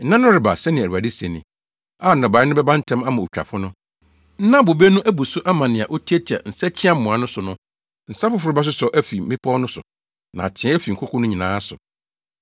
“Nna no reba,” sɛnea Awurade se ni, “A nnɔbae no bɛba ntɛm ama otwafo no, na bobe no abu so ama nea otiatia nsakyiamoa no so no. Nsa foforo bɛsosɔ afi mmepɔw no so na ateɛ afi nkoko no nyinaa so.